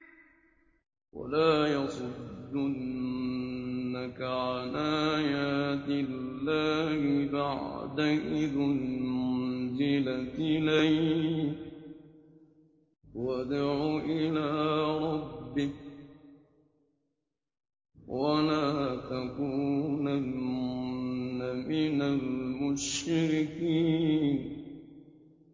وَلَا يَصُدُّنَّكَ عَنْ آيَاتِ اللَّهِ بَعْدَ إِذْ أُنزِلَتْ إِلَيْكَ ۖ وَادْعُ إِلَىٰ رَبِّكَ ۖ وَلَا تَكُونَنَّ مِنَ الْمُشْرِكِينَ